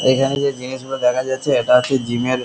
এখানে দিয়ে জিনিসগুলো দেখা যাচ্ছে এটা হচ্ছে জিম এর--